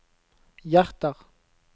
hjerter